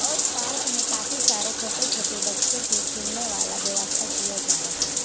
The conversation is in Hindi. और पारक में काफी सारे छोटे छोटे बच्चों के खेलने वाला व्यवस्था किया जा रहा है।